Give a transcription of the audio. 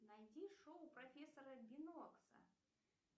найди шоу профессора бинокса